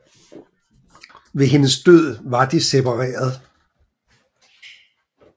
Ved hendes død var de separeret